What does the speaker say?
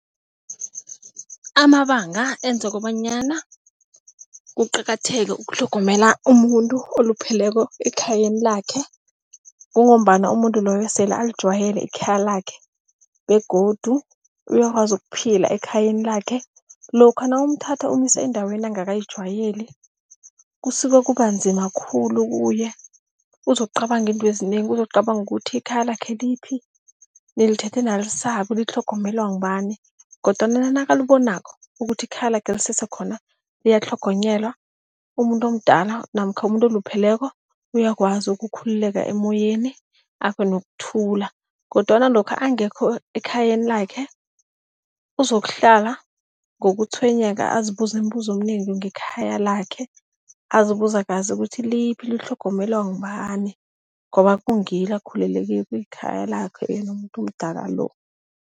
Amabanga enza kobanyana kuqakatheke ukutlhogomela umuntu olupheleko ekhayeni lakhe, kungombana umuntu loyo sele alijwayele ikhaya lakhe begodu uyakwazi ukuphila ekhayeni lakhe. Lokha nawumthatha umusa endaweni angakayijwayeli, kusuke kub enzima khulu kuye, uzokucabanga izinto ezinengi, uzokucabanga ukuthi ikhaya lakhe liphi, nilithethe nalisaphi, litlhogomelwa ngubani. Kodwana nakalibonako ukuthi ikhaya lakhe lisese khona liyatlhogonyelwa, umuntu omdala namkha umuntu olupheleko, uyakwazi ukukhululeka emoyeni abe nokuthula. Kodwana lokha angekho ekhayeni lakhe, uzokuhlala ngokutshwenyeka azibuze imibuzo eminengi ngekhaya lakhe, azibuza kazi ukuthi, liphi litlhogonyelwa ngubani? Ngoba kungilo akhululele kilo ikhaya lakhe yena umuntu omdala lo.